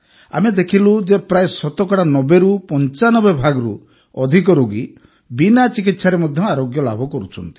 ଆମେ ଦେଖିଲୁ ଯେ ପ୍ରାୟଃ ଶତକଡ଼ା ୯୦ରୁ ୯୫ ଭାଗରୁ ଅଧିକ ରୋଗୀ ବିନା ଚିକିତ୍ସାରେ ମଧ୍ୟ ଆରୋଗ୍ୟ ଲାଭ କରୁଛନ୍ତି